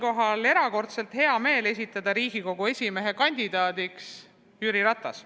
Mul on erakordselt hea meel esitada Riigikogu esimehe kandidaadiks Jüri Ratas.